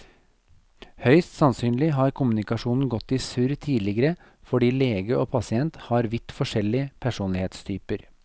Høyst sannsynlig har kommunikasjonen gått i surr tidligere fordi lege og pasient har vidt forskjellig personlighetstyper.